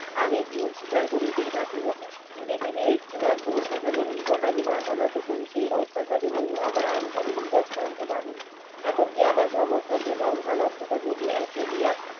আমি ভুল স্বীকার করিতেই থাকিব কোনো অত্যাচারের নিকট আমি মাথা নাত করি সে ই অত্যাচারই হলো আমার অন্তরের নিকট বাণী এমন কি আমার সমর্থন কে সংখ্যা লোভটা যদি একই লইয়া